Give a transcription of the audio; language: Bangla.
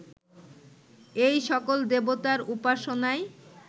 এই সকল দেবতার উপাসনায়